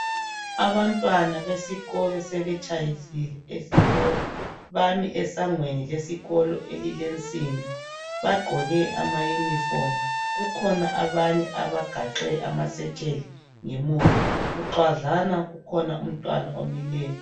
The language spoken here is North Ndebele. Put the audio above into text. Abantwana besikolo sebetshayisile. Bami esangweni lesikolo elilensimbi bagqoke amayunifomu. Kukhona abagaxe amasetsheli ngemuva. Bucwadlana kukhona umntwana omileyo.